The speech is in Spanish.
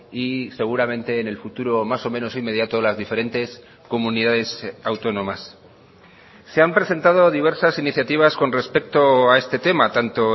y seguramente en el futuro más o menos inmediato las diferentes comunidades autónomas se han presentado diversas iniciativas con respecto a este tema tanto